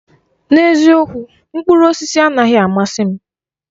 N'eziokwu, mkpụrụ osisi anaghị amasị m.